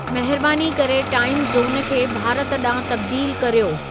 महिरबानी करे टाइमु ज़ोन खे भारत ॾांहुं तब्दीलु कर्यो